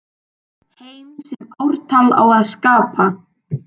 Heim sem ártal á að skapa.